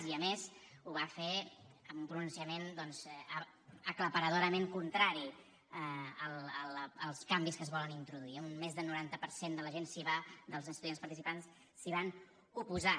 i a més ho va fer amb un pronunciament doncs aclaparadorament contrari als canvis que es volen introduir més d’un noranta per cent dels estudiants participants s’hi van oposar